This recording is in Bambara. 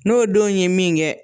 N'o denw ye min kɛ